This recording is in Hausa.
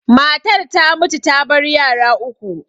Matar ta mutu ta bar yara uku.